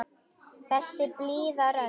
Þessi blíða rödd.